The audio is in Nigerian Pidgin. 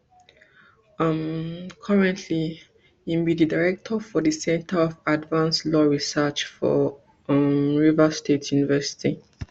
um currently im be di director for di centre for advanced law research for um rivers state university